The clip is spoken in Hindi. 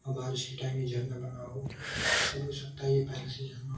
बारिश के टाइम ही झरना बना हो ऐसा भी हो सकता है पहले से झरना हो ।